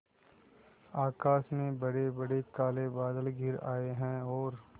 आकाश में बड़ेबड़े काले बादल घिर आए हैं और